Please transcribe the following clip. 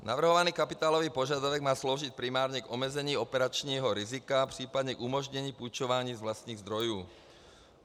Navrhovaný kapitálový požadavek má sloužit primárně k omezení operačního rizika, případně k umožnění půjčování z vlastních zdrojů.